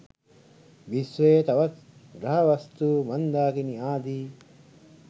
විශ්වයේ තවත් ග්‍රහවස්තු මන්ධාකිනි ආදී